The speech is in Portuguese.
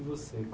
E você?